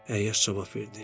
Əyyaş cavab verdi.